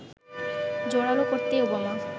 জোড়ালো করতেই ওবামা